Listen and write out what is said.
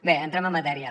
bé entrem en matèria